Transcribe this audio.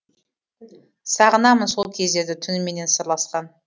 сағынамын сол кездерді түніменен сырласқан